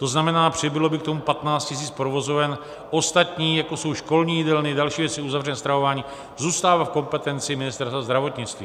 To znamená, přibylo by k tomu 15 000 provozoven, ostatní, jako jsou školní jídelny, další věci, uzavřené stravování, zůstává v kompetenci Ministerstva zdravotnictví.